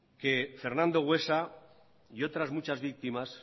que fernando buesa y otras muchas víctimas